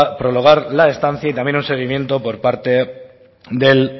prologar la estancia y también un seguimiento por parte del